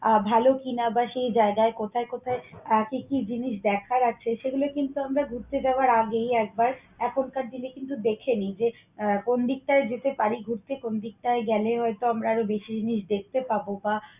আহ ভালো কিনা বা সে জায়গায় কোথায় কোথায় কি কি জিনিস দেখার আছে? সেগুলা কিন্তু আমরা ঘুরতে যাওয়ার আগেই একবার এখনকার দিনে কিন্তু দেখে নেই যে কোন দিকটাই যেতে পারি ঘুরতে, কোন দিকটা গেলে হয়তো আমরা আরও বেশি জিনিস দেখতে পাবো বা